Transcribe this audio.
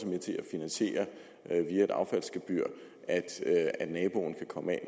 finansiere via et affaldsgebyr at naboen kan komme